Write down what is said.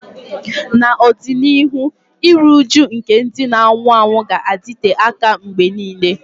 N'ọdịnihu, iru újú nke ndị na-anwụ anwụ ga-adịte aka mgbe nile.